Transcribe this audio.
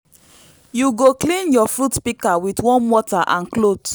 you go clean your fruit pika with warm water and cloth